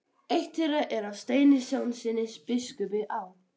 Eitt þeirra er af Steini Jónssyni biskupi á